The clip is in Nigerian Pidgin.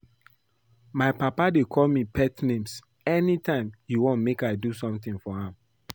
My papa dey call me pet names anytime he wan make I do something for am